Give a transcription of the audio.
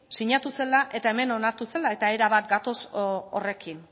sinatu zela eta hemen onartu zela eta erabat bat gatoz horrekin